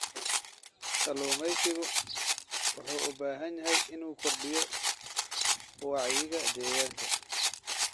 Kalluumeysigu wuxuu u baahan yahay inuu kordhiyo wacyiga deegaanka.